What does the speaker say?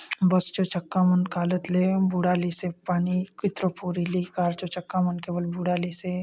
बस चो चक्का मन कालत ले बूढ़ालिसे पानी कितरो पूर इलि कार चो चक्का मन के बले बूढ़ालिसे।